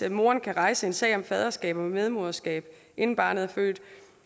at moren kan rejse en sag om faderskab og medmoderskab inden barnet er født